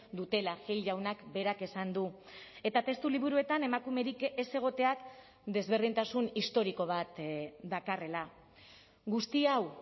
dutela gil jaunak berak esan du eta testu liburuetan emakumerik ez egoteak desberdintasun historiko bat dakarrela guzti hau